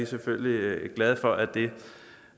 selvfølgelig glade for at det